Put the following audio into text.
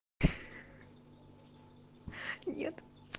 нет